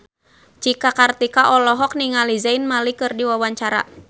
Cika Kartika olohok ningali Zayn Malik keur diwawancara